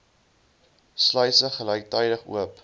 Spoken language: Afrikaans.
sluise gelyktydig oop